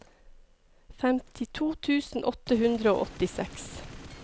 femtito tusen åtte hundre og åttiseks